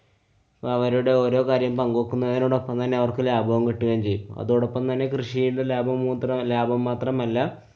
അവരുടെ ഓരോ കാര്യം പങ്കുവെക്കുന്നതിനോടോപ്പം തന്നെ അവര്‍ക്ക് ലാഭവും കിട്ടുകയും ചെയ്യുന്നു. അതോടൊപ്പം തന്നെ കൃഷിയില്‍ നിന്ന് ലാഭം മൂത്രം~ ലാഭം മാത്രമല്ല